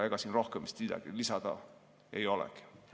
Ega siin rohkem vist midagi lisada ei olegi.